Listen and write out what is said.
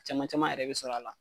Caman caman yɛrɛ be sɔr'a la